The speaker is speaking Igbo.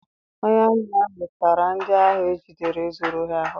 Onye amị ahụ tara ndị ahụ e jidere zụrụ ohi ahụhụ.